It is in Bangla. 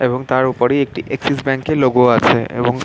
এবং তার ওপরে একটি এক্সিস ব্যাংকের লোগো আছে.এবং--